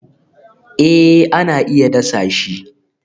Eh ana iya dasa shi